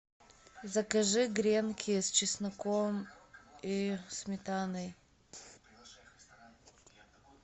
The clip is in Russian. закажи гренки с чесноком и сметаной